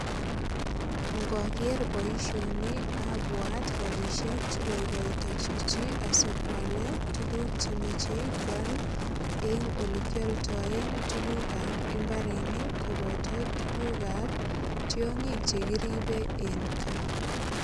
Ngoger boisioni abwat ropisiek che kaigoita chichi asikwale tuguk che mochei kwal eng olekialdae tugukab imbarenik koboto tugukab tiongik che kiribe eng kaa.